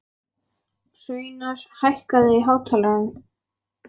Hraunar, hækkaðu í hátalaranum.